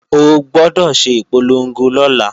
O gbọdọ̀ ṣe ìpolongo lọ́la!